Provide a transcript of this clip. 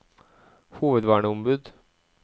hovedverneombud